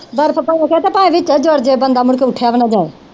ਬਰਫ ਪਾ ਕੇ ਤੇ ਭਾਵੇ ਵਿਚੇ ਜੁਰਜੇ ਬੰਦਾ ਮੁੜਕੇ ਉਠਿਆ ਵੀ ਨਾ ਜਾਏ।